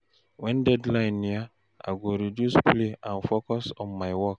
When deadline near, I go reduce play and focus on my work.